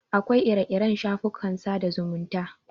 Akwai ire-iren shafukan sada zumunta.